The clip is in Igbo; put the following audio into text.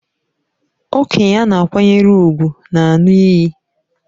Okenye a na-akwanyere ùgwù na-aṅụ iyi